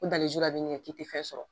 i tɛ fɛn sɔrɔ